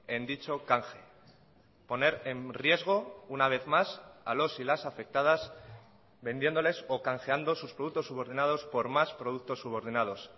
en dicho canje poner en riesgo una vez más a los y las afectadas vendiéndoles o canjeando sus productos subordinados por más productos subordinados